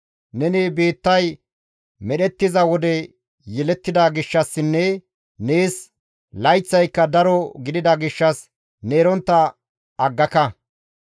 Neni biittay medhettiza wode yelettida gishshassinne nees layththayka daro gidida gishshas ne erontta aggaka!